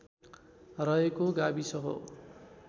रहेको गाविस हो